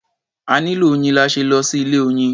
A nílò oyin la ṣe lọ sí ilé-oyin.